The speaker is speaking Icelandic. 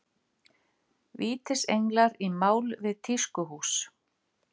Vítisenglar í mál við tískuhús